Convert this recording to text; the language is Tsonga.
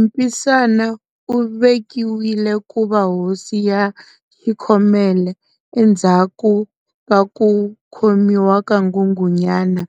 Mpisana u vekiwile kuva hosi ya xikhomela, endzhaku ka ku khomiwa ka Nghunghunyana,